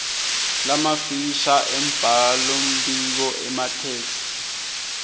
lamafisha embhalombiko emathektshi